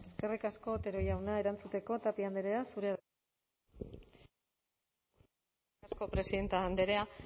eskerrik asko otero jauna erantzuteko tapia andrea zurea da hitza eskerrik asko presidente andrea